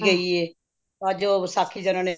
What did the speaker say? ਗਈ ਏ ਅੱਜ ਉਹ ਵਿਸਾਖੀ ਤੇ ਉਹਨਾ ਨੇ